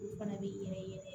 U fana bɛ yɛlɛ